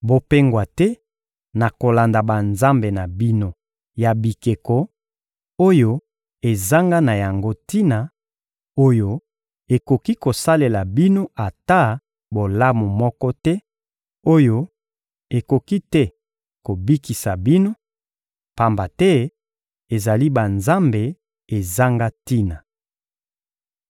Bopengwa te na kolanda banzambe na bino ya bikeko, oyo ezanga na yango tina, oyo ekoki kosalela bino ata bolamu moko te, oyo ekoki te kobikisa bino, pamba te ezali banzambe ezanga tina.